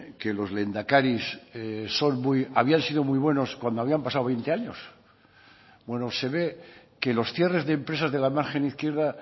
que los lehendakaris habían sido muy buenos cuando habían pasado veinte años bueno se ve que los cierres de empresas de la margen izquierda